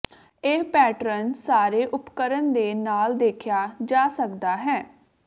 ਇਹ ਪੈਟਰਨ ਸਾਰੇ ਉਪਕਰਣ ਦੇ ਨਾਲ ਦੇਖਿਆ ਜਾ ਸਕਦਾ ਹੈ